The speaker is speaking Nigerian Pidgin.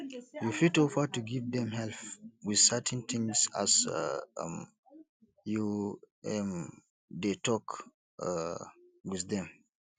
you fit offer to give them help with certain things as um you um dey talk um with them